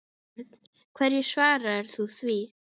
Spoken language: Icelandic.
Björn: Hverju svarar þú því?